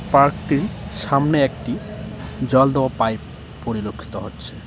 পার্কটির সামনে একটি জল দেওয়া পাইপ পরিলক্ষিত হচ্ছে।